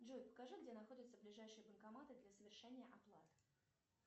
джой покажи где находятся ближайшие банкоматы для совершения оплат